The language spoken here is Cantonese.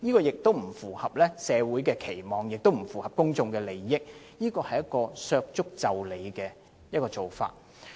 這不符合社會期望，亦不符合公眾利益，是削足就履的做法。